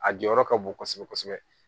A jɔyɔrɔ ka bon kosɛbɛ kosɛbɛ